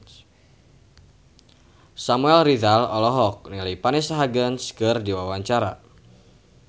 Samuel Rizal olohok ningali Vanessa Hudgens keur diwawancara